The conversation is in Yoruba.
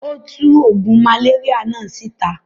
Ó tu oògùn màléríà náà síta.